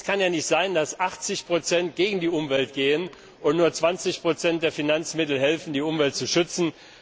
Es kann ja nicht sein, dass 80 gegen die Umwelt gehen, und nur 20 der Finanzmittel helfen, die Umwelt zu schützen.